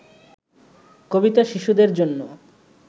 কবিতা শিশুদের জন্য